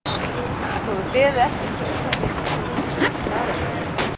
Þú hefur beðið eftir þessu augnabliki svo þú getir spurt mig að þessu?